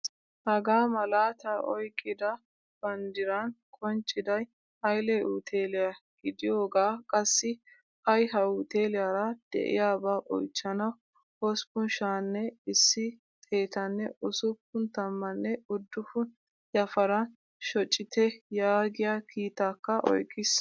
Hagaa malaatta oyqqida banddiran qoncciday Haile uteliyaa gidiyoga qassi ay ha uteliyaara deiyaba oychchanawu hossppun sha'anne issi xeettanne ussuppun tammane uddufun yafaaran shoccite yaagiyaa kiitakka oyqqiis.